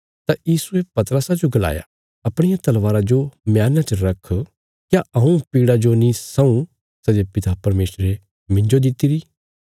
तां यीशुये पतरसा जो गलाया अपणिया तलवारा जो मयाना च रख क्या हऊँ पीड़ा जो नीं सऊँ सै जे पिता परमेशरे मिन्जो दित्तिरी